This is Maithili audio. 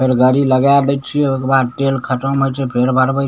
गाड़ी लगाय दे छीये ओय के बाद तेल खत्म होय छै फेर भरवे |